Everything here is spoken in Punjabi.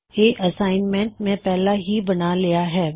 ਇਹ ਅੱਸਾਈਨਮੈਂਟ ਮੈਂ ਪਹਿਲਾਂ ਹੀ ਬਣਾ ਲਿਆ ਹੇ